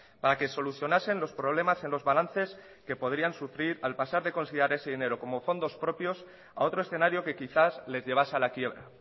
para que solucionasen los problemas en los balances que podrían sufrir al pasar de considerar ese dinero como fondos propios a otro escenario que quizás les llevase a la quiebra